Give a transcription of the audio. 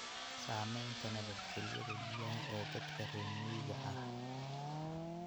Saamaynta nabadgelyada biyaha ee dadka reer miyiga ah.